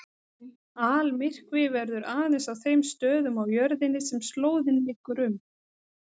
Almyrkvi verður aðeins á þeim stöðum á jörðinni sem slóðin liggur um.